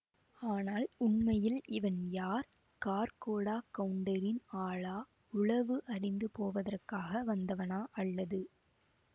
ஆனால் உண்மையில் இவன் யார் கார்க்கோடக் கவுண்டரின் ஆளா உளவு அறிந்து போவதற்காக வந்தவனா அல்லது